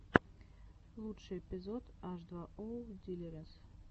лучший эпизод аш два оу дилириэс